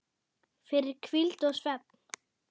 fyrir hvíld og svefn